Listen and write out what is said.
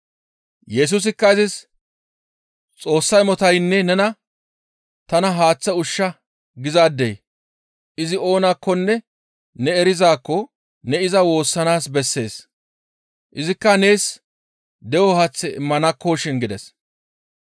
Yesusikka izis, «Xoossa imotaynne nena, ‹Tana haaththe ushsha› gizaadey izi oonakkonne ne erizaakko ne iza woossanaas bessees. Izikka nees de7o haaththe immanakkoshin» gides.